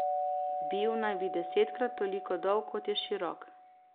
Bil naj bi desetkrat toliko dolg, kot je širok.